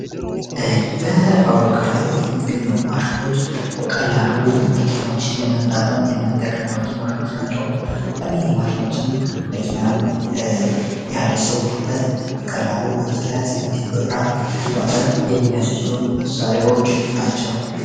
በፋብሪካው ላይ የሚገኘ ማሽኖች በቀላሉ መኪማዎችን ለመቅጣጠም የመነጠቀንባቸው ማሽኖች ናቸው። እኒህ ማሽኖችን መኪናን ያለሰው ውልበት በቀላሉ በፍጥነት እንዲሁን በጥራት ለማመረት የሚያስችሉን መሳሪዎች ናቸው።